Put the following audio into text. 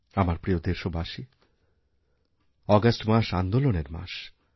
আমারপ্রিয় দেশবাসী আগস্ট মাস আন্দোলনের মাস